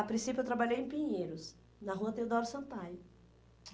A princípio eu trabalhei em Pinheiros, na rua Teodoro Sampaio.